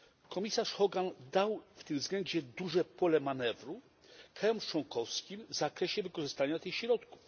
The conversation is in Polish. Komisarz Hogan dał w tym względzie duże pole manewru krajom członkowskim w zakresie wykorzystania tych środków.